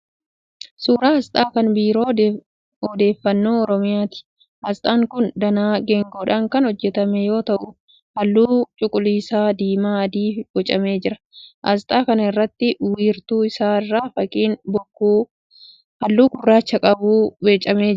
Suuraa asxaa kan Biiroo Odeeffannoo Oromiyaati. Asxaan kun danaa geengoodhaan kan hojjetame yoo ta'u halluu cuquliisa, diimaa fi adiin boocamee jira. Asxaa kana irratti wiirtuu isaa irra fakkiin bokkuu halluu gurraacha qabu boocamee jira.